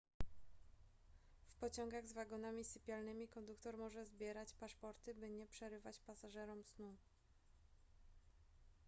w pociągach z wagonami sypialnymi konduktor może zbierać paszporty by nie przerywać pasażerom snu